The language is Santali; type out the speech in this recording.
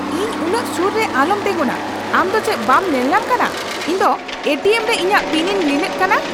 ᱤᱧ ᱩᱱᱟᱹᱜ ᱥᱩᱨ ᱨᱮ ᱟᱞᱚᱢ ᱛᱮᱸᱜᱚᱱᱟ ! ᱟᱢ ᱫᱚ ᱪᱮᱫ ᱵᱟᱢ ᱧᱮᱞ ᱧᱟᱧᱟᱢ ᱠᱟᱱᱟ ᱤᱧ ᱫᱚ ᱮ ᱴᱤ ᱮᱢ ᱨᱮ ᱤᱧᱟᱜ ᱯᱤᱱᱤᱧ ᱞᱤᱱᱮᱫ ᱠᱟᱱᱟ ?